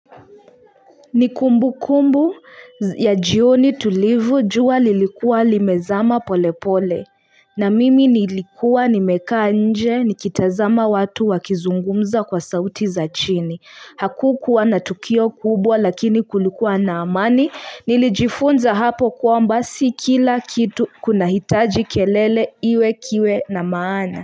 Ni kumbukumbu ya jioni tulivyo jua lilikua limezama pole pole na mimi nilikuwa nimekaa nje nikitazama watu wakizungumza kwa sauti za chini. Hakukuwa na tukio kubwa lakini kulikuwa na amani nilijifunza hapo kuwa basi kila kitu kunahitaji kelele iwe kiwe na maana.